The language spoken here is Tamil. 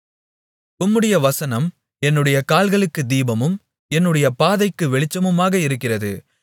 உம்முடைய வசனம் என்னுடைய கால்களுக்குத் தீபமும் என்னுடைய பாதைக்கு வெளிச்சமுமாக இருக்கிறது